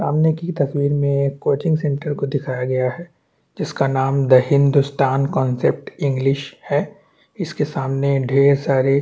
सामने की तस्वीर मे एक कोचिंग सेन्टर को दिखाई गया है जिस का नाम द हिंदुस्तान कॉन्सेप्ट इंग्लिश है इसके सामने ढेर सारे--